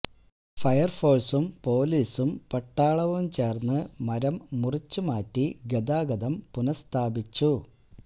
fire ഫോഴ്സും പൊലിസും പട്ടാളവും ചേര്ന്ന് മരം മുറിച്ചു മാറ്റി ഗതാഗതം പുനസ്ഥാപിച്ചു